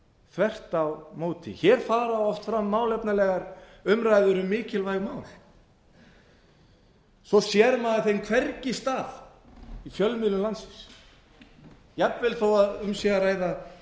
þvert á móti hér fara oft fram málefnalegar umræður um mikilvæg mál þó sér maður þeim hvergi stað í fjölmiðlum landsins jafnvel þó um sé að ræða